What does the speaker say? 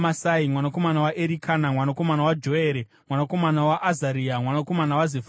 mwanakomana waErikana, mwanakomana waJoere, mwanakomana waAzaria, mwanakomana waZefania,